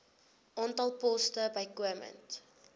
aantal poste bykomend